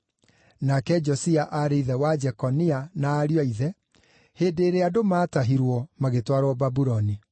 nake Josia aarĩ ithe wa Jekonia na ariũ a ithe, hĩndĩ ĩrĩa andũ maatahirwo, magĩtwarwo Babuloni.